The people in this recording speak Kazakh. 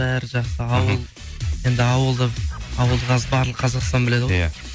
бәрі жақсы ауыл енді ауылда ауыл қазір барлық қазақстан біледі ғой иә